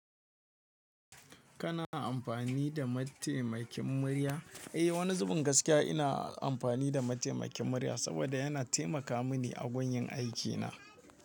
Kana amfani da mataimakin murya? Eh, wani zubin gaskiya ina amfani da mataimakin murya saboda yana taimaka mini a gurin yin aikina.